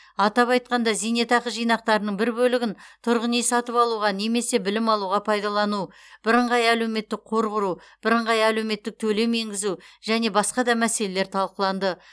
атап айтқанда зейнетақы жинақтарының бір бөлігін тұрғын үй сатып алуға немесе білім алуға пайдалану бірыңғай әлеуметтік қор құру бірыңғай әлеуметтік төлем енгізу және басқа да мәселелер талқыланды